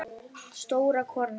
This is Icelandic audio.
Stór kona.